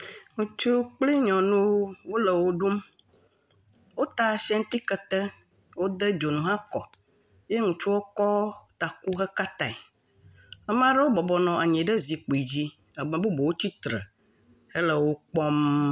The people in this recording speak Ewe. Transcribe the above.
Ŋutsu kple nyɔnu wole wo ɖum, wota Ashanti kete, wode dzonu hã kɔ ye ŋutsua kɔ taku heka tae, ame ɖewo nɔ anyi ɖe zikpui dzi bubuwotsitre hele wo kpɔm.